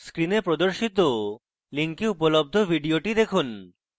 screen প্রদর্শিত link উপলব্ধ video দেখুন